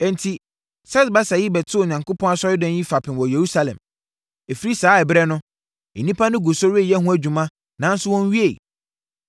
“Enti, Sesbasar yi bɛtoo Onyankopɔn asɔredan yi fapem wɔ Yerusalem. Ɛfiri saa ɛberɛ no, nnipa no gu so reyɛ ho adwuma nanso wɔnwieeɛ.”